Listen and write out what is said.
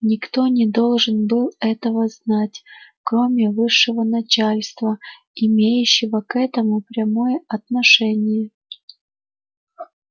никто не должен был этого знать кроме высшего начальства имеющего к этому прямое отношение